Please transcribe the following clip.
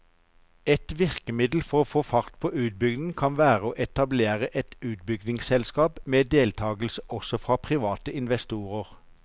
Et virkemiddel for å få fart på utbyggingen kan være å etablere et utbyggingsselskap med deltagelse også fra private investorer.